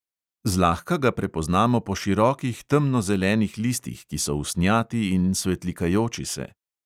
Zlahka ga prepoznamo po širokih temnozelenih listih, ki so usnjati in svetlikajoči se.